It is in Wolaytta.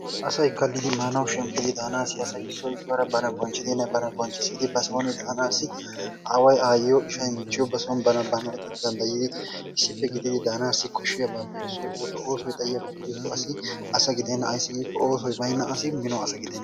asay kallidi maanauw shemppidi daanassi asay issoy issuwaara bana bonchchidinne ba soon daanassi aaway, aayyiyo ishshay michchiyo basson bana danddayddi issippe gididi daanassi koshiyaabappe issoy oosuwaa. Oosoy xaayyiyaaba gidikko asi asa gidenna. ayssi giiko oossoy baynna asi mino asa gidena.